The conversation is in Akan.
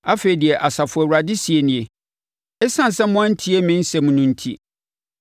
Afei deɛ Asafo Awurade seɛ nie: “Esiane sɛ moantie me nsɛm no enti,